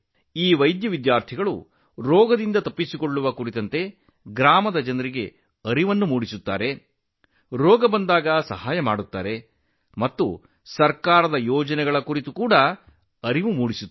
ಈ ವೈದ್ಯಕೀಯ ವಿದ್ಯಾರ್ಥಿಗಳು ಅನಾರೋಗ್ಯದಿಂದ ದೂರವಿರುವ ಬಗ್ಗೆ ಗ್ರಾಮದ ಜನರಿಗೆ ಅರಿವು ಮೂಡಿಸುತ್ತಾರೆ ಚೇತರಿಸಿಕೊಳ್ಳಲು ಸಹಾಯ ಮಾಡುತ್ತಾರೆ ಮತ್ತು ಸರ್ಕಾರದ ಯೋಜನೆಗಳ ಬಗ್ಗೆ ಮಾಹಿತಿ ನೀಡುತ್ತಾರೆ